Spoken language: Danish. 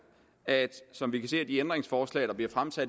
som vi kan se af de ændringsforslag der